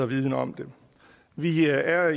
viden om det vi er